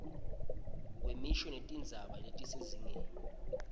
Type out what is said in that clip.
kwemisho netindzima kusezingeni